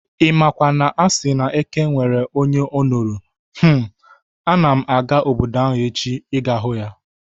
Imakwa na asị na eke nwere onye onoro, hmmm! Ana m aga obodo ahụ echi ịga hụ ya